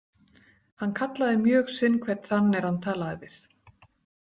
Hann kallaði mjög sinn hvern þann er hann talaði við.